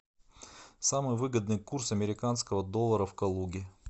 самый выгодный курс американского доллара в калуге